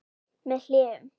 Með hléum.